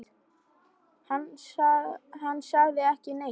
Hann sagði ekki neitt.